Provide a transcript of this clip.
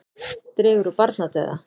Dregur úr barnadauða